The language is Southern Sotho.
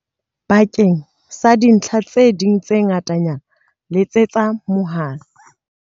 Bakeng sa dintlha tse ding tse ngatanyana letsetsa mohala.